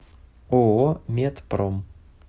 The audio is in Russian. ооо метпром